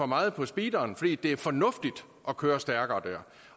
meget på speederen fordi det er fornuftigt at køre stærkere der